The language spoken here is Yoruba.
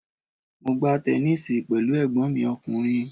Mo gbá tẹnísíì pẹ̀lú ẹ̀gbọ́n mi ọkùnrin